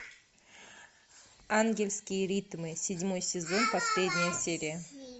ангельские ритмы седьмой сезон последняя серия